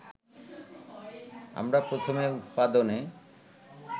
আমরা প্রথমে উৎপাদনে